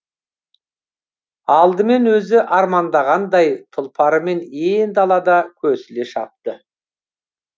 алдымен өзі армандағандай тұлпарымен ен далада көсіле шапты